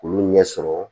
K'olu ɲɛ sɔrɔ